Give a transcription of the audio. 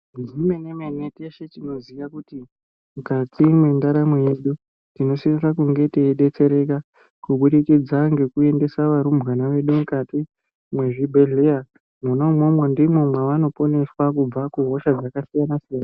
Zvemene-mene teshe tinoziya kuti mukati mwendaramo yedu tinosisa kunge teidetsereka kubudikidza ngekuendesa arumbwana edu mukati mwezvibhedhleya. Mwona umwomwo ndimwo mwaanoponeswa kubva kuhosha dzakasiyana siyana.